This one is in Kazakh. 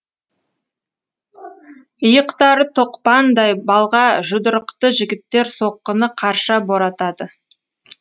иықтары тоқпандай балға жұдырықты жігіттер соққыны қарша боратады